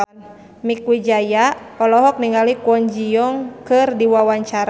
Mieke Wijaya olohok ningali Kwon Ji Yong keur diwawancara